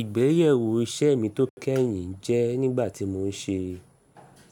Ìgbéyèwò iṣẹ́ mi tó kẹ́yìn jẹ́ nígbà tí mò ń ṣe